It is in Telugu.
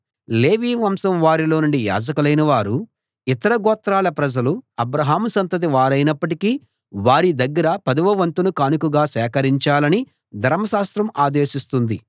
లేవి వంశం వారిలో నుండి యాజకులైన వారు ఇతర గోత్రాల ప్రజలు అబ్రాహాము సంతతి వారైనప్పటికీ వారి దగ్గర పదవ వంతును కానుకగా సేకరించాలని ధర్మశాస్త్రం ఆదేశిస్తుంది